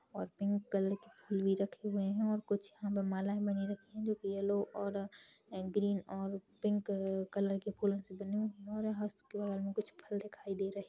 और pink colour के फूल भी रखे हुए है कुछ यहाँ पे मालाए बनी रखी है जो की येलो और ग्रीन और पिंक कलर के फूलो से बनी हुई है और उसके बगल में कुछ फल दिखाई दे रहे--